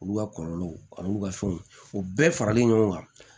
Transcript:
Olu ka kɔlɔlɔw ani olu ka fɛnw o bɛɛ faralen ɲɔgɔn kan